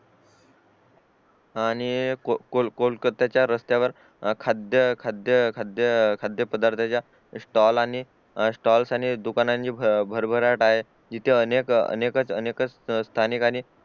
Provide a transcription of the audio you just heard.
आणि कोळ कोलकाता च्या रस्त्यावर खाद्यपद्यरताच्या स्टॉल आणि स्टॉल्स आणि दुकानांनी ची भर भराट आहे इथे अनेक अनेक स्थानिकांनी